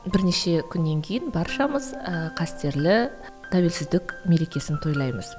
бірнеше күннен кейін баршамыз ыыы қастерлі тәуелсіздік мерекесін тойлаймыз